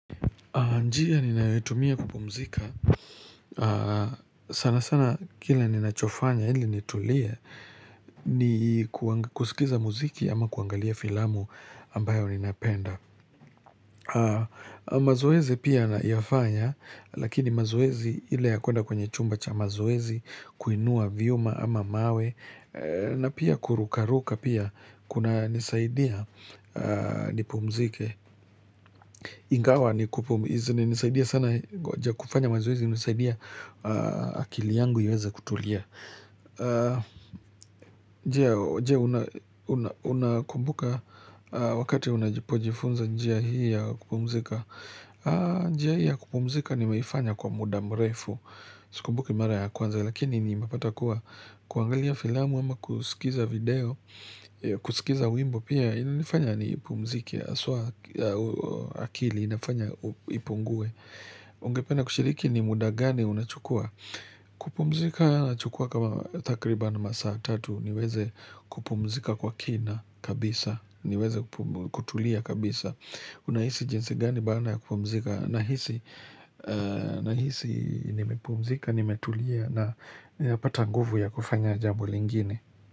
Njia ninayoitumia kupumzika sana sana kile ninachofanya ili nitulie ni kusikiza muziki ama kuangalia filamu ambayo ninapenda mazoezi pia nayafanya Lakini mazoezi ile ya kwenda kwenye chumba cha mazoezi kuinua vyuma ama mawe na pia kurukaruka pia Kuna nisaidia nipumzike Ingawa ni kupumizi ni nisaidia sana kufanya mazoezi inanisaidia akili yangu iweze kutulia je unakumbuka wakati unajipo jifunza njia hii ya kupumzika njia hii ya kupumzika nimeifanya kwa muda mrefu sikumbuki mara ya kwanza lakini ni mepata kuwa kuangalia filamu ama kusikiza video kusikiza wimbo pia ilinifanya ni kupumzike haswa akili inafanya ipungue. Ungepenna kushiriki ni muda gani unachukua? Kupumzika nachukua kama takriban masaa tatu niweze kupumzika kwa kina kabisa. Niweze kutulia kabisa. Unahisi jinsi gani baada ya kupumzika nahisi nahisi nimepumzika, nimetulia napata nguvu ya kufanya jambo lingine.